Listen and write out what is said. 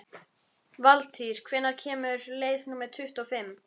Valtýr, hvenær kemur leið númer tuttugu og fimm?